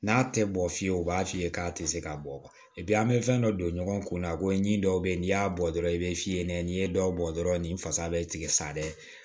N'a tɛ bɔ fiyewu u b'a f'i ye k'a tɛ se ka bɔ an bɛ fɛn dɔ don ɲɔgɔn kun na ko n ɲi dɔw bɛ yen n'i y'a bɔ dɔrɔn i bɛ f'i ye ne ye dɔw bɔ dɔrɔn ni fasa bɛ tigɛ sa dɛ